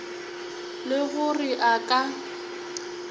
le go re a ka